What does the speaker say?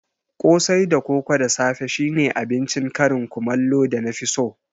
Kosai da koko da safe shine abincin karin kumallo da na fi so